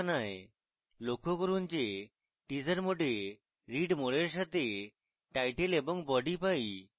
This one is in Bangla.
লক্ষ্য করুন যে teaser mode a read more এর সাথে title এবং body পাই